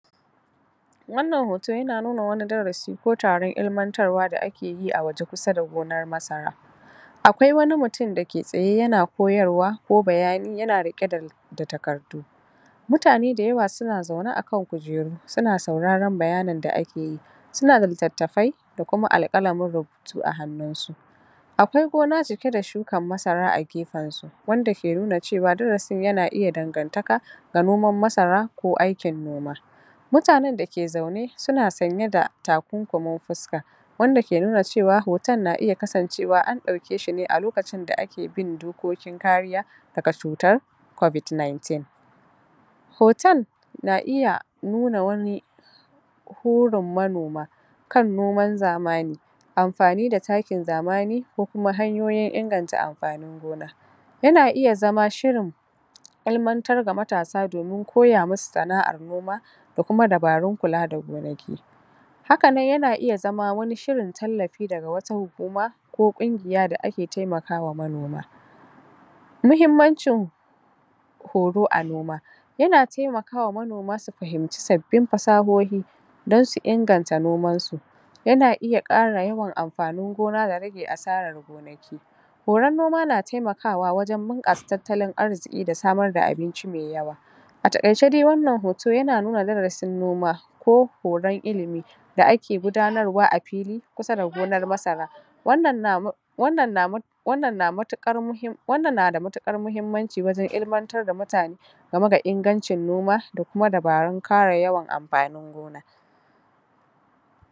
wannan hoto yana nuna wani darasi ko taron ilimantarwa da ake yi a waje kusa da gonar masara akwai wani mutum dake tsaye yana koyarwa ko bayani yana riƙe da takardu mutane da yawa suna zaune akan kujeru suna sauraron bayanin da ake yi suna da littattafai da kuma alƙalamin rubutu a hannun su akwai gona cike da shukar masara agefen su wanda ke nuna cewa darasin yana iya dangantaka da noman masara ko aikin noma mutanen da ke zaune suna sanye da takunkumin fuska wanda ke nuna cewa hoton na iya kasancewa an ɗauke shine a lokacin da ake bin dokokin kariya daga cutar COVID19 hotan na iya nuna wani horin manoma kan noman zamani amfani da takin zamani ko kuma hanyoyin inganta amfanin gona yana iya zama shirin ilimantar da matasa domin koya mu su sana'ar noma da kuma dabarun kula da gonaki hakanan yana iya zama wani shirin tallafi daga wata hukuma ko ƙungiya da ake temakawa manoma muhimmancin horo a noma yana temakawa manoma su fahimci sabbin fasahohi dan su inganta noman su yana iya ƙara yawan amfanin gona da rage asarar gonaki horon noma na temakawa wajen bunƙasa tattalin arziƙi da samar da abinci me yawa a taƙaice dai wannan hoto yana nuna darasin noma ko horon ilimi da ake gudanarwa a fili kusa da gonar masara wannan na wannan na da matuƙar muhimmanci wajen ilimantar da mutane game da ingancin noma da kuma dabarun ƙara yawan amfanin gona